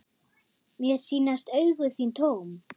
Mér sýnast augu þín tóm.